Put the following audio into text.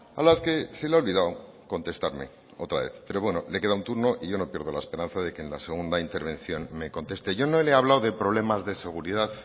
a las que se le ha olvidado contestarme otra vez bueno le queda un turno y yo no pierdo la esperanza de que en la segunda intervención me conteste yo no le he hablado de problemas de seguridad